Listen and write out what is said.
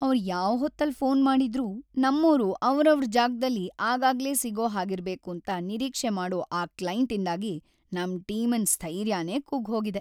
ಅವ್ರ್‌ ಯಾವ್‌ ಹೊತ್ತಲ್‌ ಫೋನ್‌ ಮಾಡಿದ್ರೂ ನಮ್ಮೋರು ಅವ್ರವ್ರ್‌ ಜಾಗ್ದಲ್ಲಿ ಆಗಾಗ್ಲೇ ಸಿಗೋ ಹಾಗಿರ್ಬೇಕೂಂತ ನಿರೀಕ್ಷೆ ಮಾಡೋ ಆ ಕ್ಲೈಂಟ್‌ಇಂದಾಗಿ ನಮ್‌ ಟೀಮಿನ್‌ ಸ್ಥೈರ್ಯನೇ ಕುಗ್ಗ್‌ಹೋಗಿದೆ.